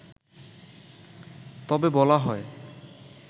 তবে বলা হয়